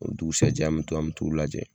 O dugusɛjɛ an bɛ taa an mɛ t'o lajɛ.